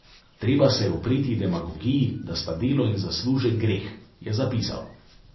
Treba se je upreti demagogiji, da sta delo in zaslužek greh, je zapisal.